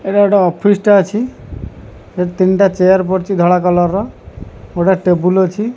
ଏଇଟା ଗୋଟେ ଅଫିସ ତା ଅଛି ଏଠି ତିନିଟା ଚେୟାର ପଡ଼ିଛି ଧଳା କଲର୍ ର ଗୋଟେ ଟେବୁଲ ଅଛି।